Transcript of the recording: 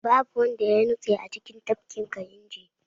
Babu wanda ya nutse a cikin tafkin kayinji